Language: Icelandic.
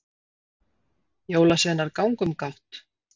Jólasveinar ganga um gátt